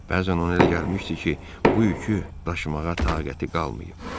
Bəzən ona elə gəlmişdi ki, bu yükü daşımağa taqəti qalmayıb.